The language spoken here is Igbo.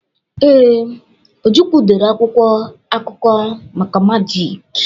Ee, Ojukwu dere akwụkwọ akụkọ maka majịk.